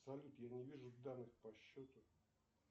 салют я не вижу данных по счету